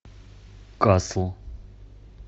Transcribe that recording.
касл